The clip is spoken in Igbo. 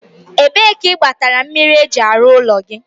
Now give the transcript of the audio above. ebee ka ị gbatara mmiri eji arụ ụlọ gị?